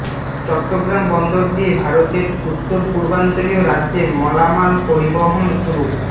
চট্টগ্রাম বন্দর দিয়ে ভারতের উত্তরপূর্বাঞ্চলীয় রাজ্যে মালামাল পরিবহন শুরু